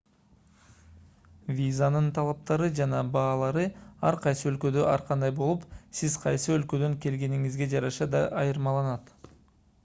визанын талаптары жана баалары ар кайсы өлкөдө ар кандай болуп сиз кайсы өлкөдөн келгениңизге жараша да айырмаланат